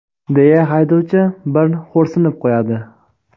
deya haydovchi bir xo‘rsinib qo‘yadi.